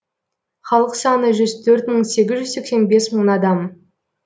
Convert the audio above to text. халық саны жүз төрт мың сегіз жүз сексен бес мың адам